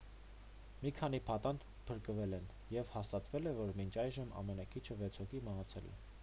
մի քանի պատանդ փրկվել են և հաստատվել է որ մինչ այժմ ամենաքիչը վեց հոգի մահացել է